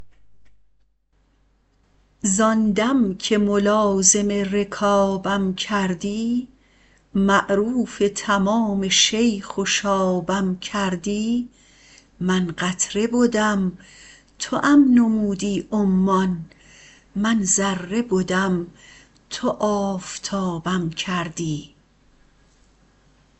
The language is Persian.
زآن دم که ملازم رکابم کردی معروف تمام شیخ و شابم کردی من قطره بدم توام نمودی عمان من ذره بدم تو آفتابم کردی